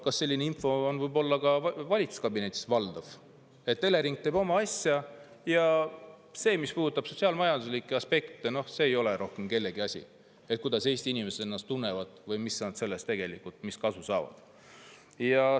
Kas selline info on võib olla ka valitsuskabinetis valdav, et Elering teeb oma asja ja see, mis puudutab sotsiaal‑majanduslikke aspekte, ei ole rohkem kellegi asi, kuidas Eesti inimesed ennast tunnevad või mis nad sellest tegelikult, mis kasu saavad?